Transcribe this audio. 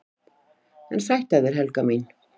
"""EN SÆTT AF ÞÉR, HELGA MÍN!"""